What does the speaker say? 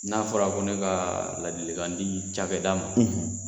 N'a fɔra ko ne ka ladili kan di cakɛda ma